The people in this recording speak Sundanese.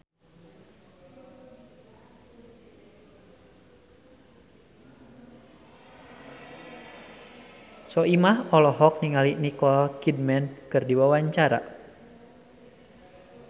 Soimah olohok ningali Nicole Kidman keur diwawancara